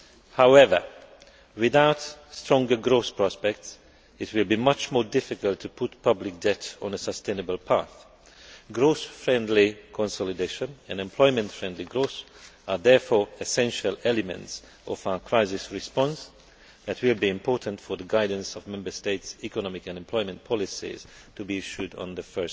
However, without stronger growth prospects, it will be much more difficult to put public debt on a sustainable path. Growth friendly consolidation and employment friendly growth are therefore essential elements of our crisis response, which will be important for the guidance of Member States' economic and employment policies, to be issued on 1